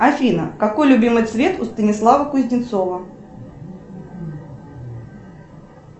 афина какой любимый цвет у станислава кузнецова